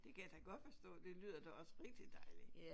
Det kan jeg da godt forstå det lyder da også rigtig dejligt